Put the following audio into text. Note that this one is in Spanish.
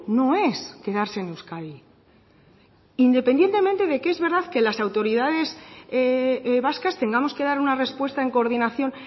no es quedarse en euskadi independientemente de que es verdad que las autoridades vascas tengamos que dar una respuesta en coordinación